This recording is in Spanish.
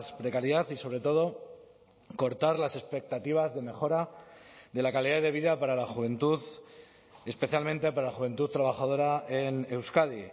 precariedad y sobre todo cortar las expectativas de mejora de la calidad de vida para la juventud especialmente para la juventud trabajadora en euskadi